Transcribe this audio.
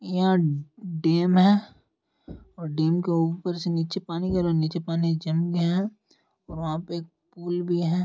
यहा डैम है और डैम के उपर से नीचे पानी करो नीचे पानी जम गया है वहा पे एक पूल भी है।